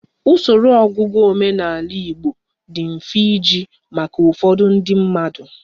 Usoro ọgụgụ omenala di mfe iji maka ụfọdụ ndị mmadụ.